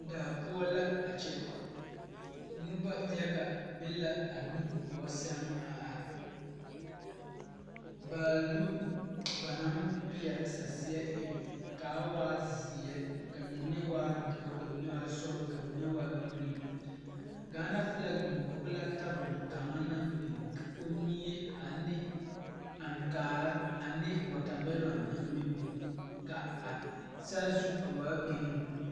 Daa poɔ la a kyɛ nobo yaga be la a nu gɔɔ saŋ a are baalu ba naŋ pele saseɛ eŋ kaa waa ziɛ ka mine waa doɔ ,ka mine waa sɔglɔ, ka mine waa gari Gaana filak biŋ kɔŋ la tabol kaŋa naŋ biŋ ka komie ane ankaare ane wɔɔtamiloŋ naŋ bebe ka a saazu a waa gari.